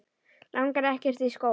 Langar ekkert í skóla.